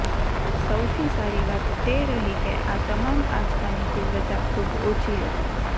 સૌથી સારી વાત તે રહી કે આ તમામ આંચકાની તીવ્રતા ખુબ ઓછી હતી